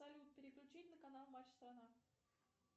салют переключить на канал матч страна